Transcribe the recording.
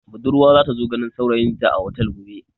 Budurwa za ta zo ganin saurayinta a otel gobe.